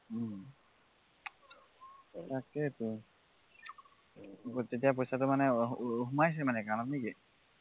উম তাকেতো পইচাটো মানে সোমাইছে মানে নে কি account ত